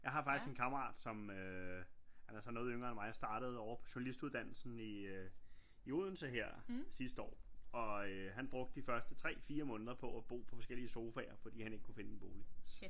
Jeg har faktisk en kammerat som øh han er så noget yngre end mig startede ovre på journalistuddannelsen i øh i Odense her sidste år og øh han brugte de første 3 4 måneder på at bo på forskellige sofaer fordi han ikke kunne finde en bolig